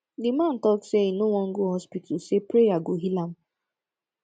the man talk say he no wan go hospital say prayer go heal am